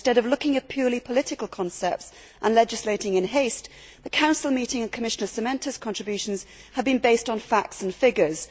Instead of looking at purely political concepts and legislating in haste, the Council meeting and Commissioner Šemeta's contributions have been based on facts and figures.